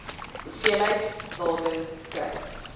hoeveelheid water kry